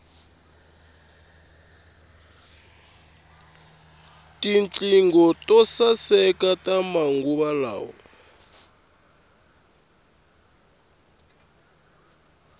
tinqingho to saeka ta manguva lawa